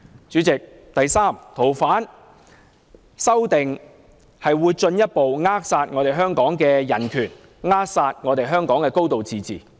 主席，第三，修訂《條例》會進一步扼殺香港的人權及"高度自治"。